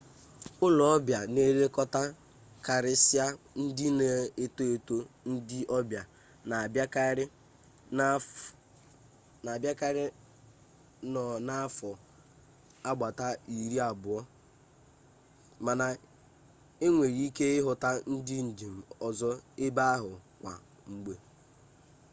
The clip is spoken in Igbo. ulo-obia na elekota karisia ndị na-eto eto ndi obia na abiakari no n'afo agbata iri-abuo mana inwere ike ihuta ndi njem ozo ebe ahu kwa mgbe